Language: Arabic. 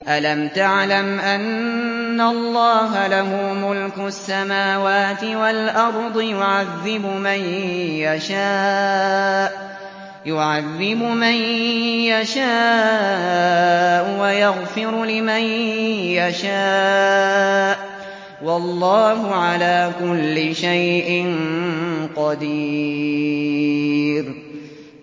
أَلَمْ تَعْلَمْ أَنَّ اللَّهَ لَهُ مُلْكُ السَّمَاوَاتِ وَالْأَرْضِ يُعَذِّبُ مَن يَشَاءُ وَيَغْفِرُ لِمَن يَشَاءُ ۗ وَاللَّهُ عَلَىٰ كُلِّ شَيْءٍ قَدِيرٌ